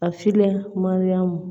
A filen maɲɔ